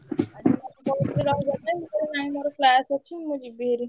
ମାମୁଁ ମତେ କହୁଥିଲେ ରହିବା ପାଇଁ ମୁଁ କହିଲି ନାଇଁ ମୋର class ଅଛି ମୁଁ ଯିବି ଭାରି।